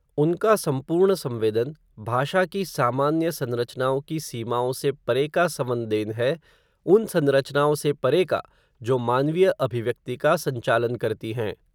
उनका सम्पूर्ण संवेदन, भाषा की सामान्य संरचनाओं की, सीमाओं से परे का सवंदेन है, उन संरचनाओं से परे का, जो मानवीय अभिव्यक्ति का, संचालन करती हैं